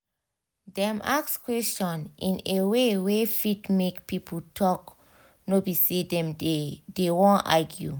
dem ask questions in a way wey fit make people talk no be say demdey dey wan argue